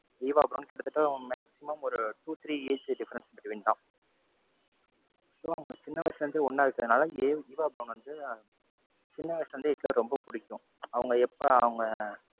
Eva Braun கிட்டத்தட்ட maximum ஒரு two, three age difference between தான். so அவங்க சின்ன வயசுல இருந்தே ஒண்ணா இருக்கறதுனால ஈவா பிரௌன் வந்து சின்ன வயசுல இருந்தே ஹிட்லர ரொம்ப பிடிக்கும். அவங்க எப்ப அவங்க,